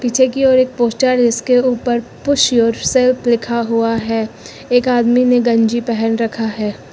पीछे की ओर एक पोस्टर है जिसके ऊपर पुश योरसेल्फ लिखा हुआ है एक आदमी ने गंजी पहन रखा है।